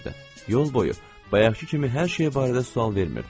Yol boyu bayaqkı kimi hər şey barədə sual vermirdi.